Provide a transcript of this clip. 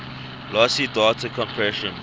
lossy data compression